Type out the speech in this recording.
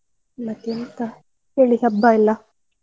ಮತ್ ಎಂತ ಹೇಳಿ ಹಬ್ಬ ಎಲ್ಲಾ?